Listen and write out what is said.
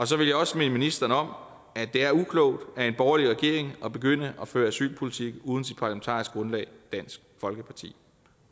så vil jeg også minde ministeren om at det er uklogt af en borgerlig regering at begynde at føre asylpolitik uden sit parlamentariske grundlag dansk folkeparti